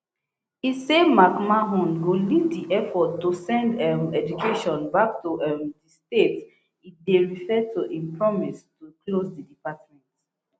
e say mcmahon go lead di effort to send um education back to um di states e dey refer to im promise to close di department